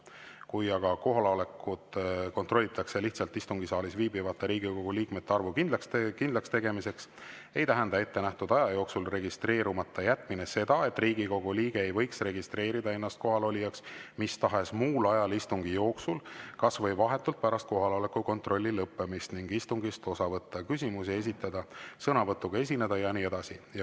Kui aga kohalolekut kontrollitakse lihtsalt istungisaalis viibivate Riigikogu liikmete arvu kindlakstegemiseks, ei tähenda ettenähtud aja jooksul registreerumata jätmine seda, et Riigikogu liige ei võiks registreerida ennast kohalolijaks mis tahes muul ajal istungi jooksul, kas või vahetult pärast kohaloleku kontrolli lõppemist, ning istungist osa võtta – küsimusi esitada, sõnavõtuga esineda jne.